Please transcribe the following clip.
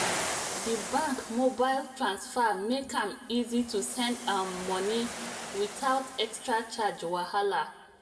di bank mobile transfer make am easy to send um money without extra charge wahala